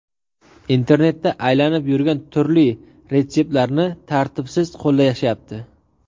Internetda aylanib yurgan turli retseptlarni tartibsiz qo‘llashyapti!